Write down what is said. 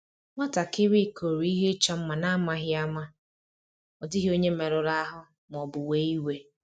Nwatakịrị kụrụ ihe ịchọ mma n'amaghị ama, ma ọ dịghị onye merụrụ ahụ ma ọ bụ wee iwe